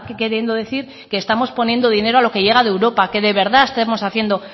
queriendo decir que estamos poniendo dinero a lo que llega de europa que de verdad estemos haciendo